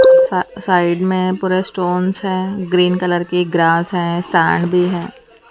सा साइड में पूरा स्टोंस हैं ग्रीन कलर की ग्रास है सैंड भी है।